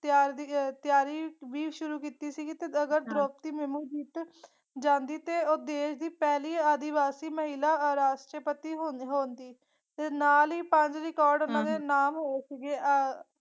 ਤਿਆਰ ਦੀ ਆਹ ਆਹ ਤਿਆਰੀ ਵੀ ਸ਼ੁਰੂ ਕਿੱਤੀ ਸੀਗੀ ਤੇ ਅਗਰ ਦ੍ਰੋਪਦੀ ਮੁਰੁਮੁ ਜਿਤ ਜਾਂਦੀ ਤੇ ਉਹ ਦੇਸ਼ ਦੀ ਪਹਿਲੀ ਆਦਿਵਾਸੀ ਮਹਿਲਾ ਰਾਸ਼ਟਰਪਤੀ ਹੋਂ ਹੋਂਦੀ ਤੇ ਨਾਲ ਹੀ ਪੰਜ ਰਿਕਾਰਡ ਊਨਾ ਦੇ ਨਾਮ ਹੋਏ ਸੀਗੇ ਆਹ ਹੋਏ ਸੀਗੇ।